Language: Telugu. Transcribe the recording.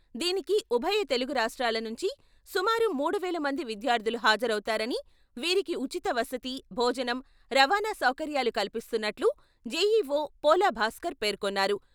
దీనికి ఉభయ తెలుగు రాష్ట్రాల నుంచి సుమారు మూడు వేల మంది విద్యార్థులు హాజరవుతారని, వీరికి ఉచిత వసతి, భోజనం, రవాణా సౌకర్యాలు కల్పిస్తునట్లు జెఈఓ పోలా భాస్కర్ పేర్కొన్నారు.